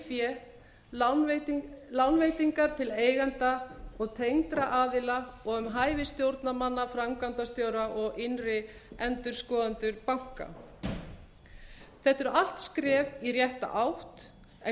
um eigið fé lánveitingar til eigenda og tengdra aðila og um hæfi stjórnarmanna framkvæmdastjóra og innri endurskoðenda banka þetta eru allt skref í rétta átt en